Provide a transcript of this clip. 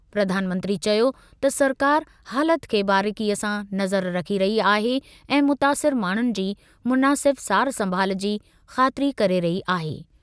प्रधानमंत्री चयो त सरकार हालति ते बारीक़ीअ सां नज़र रखी रही आहे ऐं मुतासिर माण्हुनि जी मुनासिब सार-संभाल जी ख़ातिरी करे रही आहे।